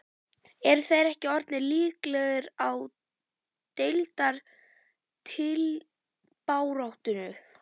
Eru þeir ekki orðnir líklegir í deildar titilbaráttu??